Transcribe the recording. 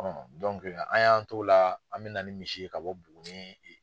an y'an t'o la an bɛ na ni misi ye ka bɔ Buguni.